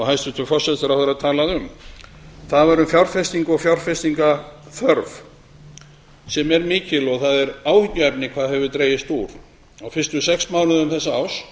hæstvirtur forsætisráðherra talaði um fjárfesting fjárfestingarþörf er mikil það er áhyggjuefni hve mjög hefur dregið úr fjárfestingu á fyrstu sex mánuðum þessa árs